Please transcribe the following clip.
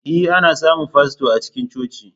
E, ana samun fasto a cikin coci.